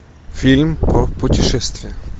фильм про путешествия